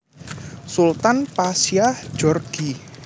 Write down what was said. Sultan Pasya Djorghi